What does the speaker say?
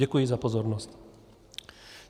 Děkuji za pozornost.